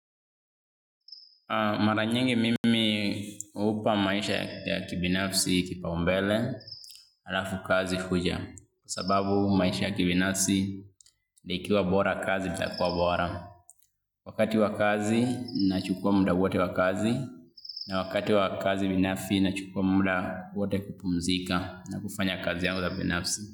Mara nyingi mimi hupa maisha ya kibinafsi kipaumbele alafu kazi huja kwa sababu maisha ya kibinafsi ikiwa bora kazi itakuwa bora. Wakati wa kazi nachukua muda wote wa kazi na wakati wa kazi binafsi nachukua muda wote kupumzika na kufanya kazi yangu za binafsi.